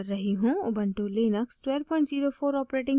ubuntu Linux 1204 os